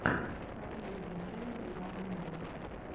последняя часть бинарный инвестор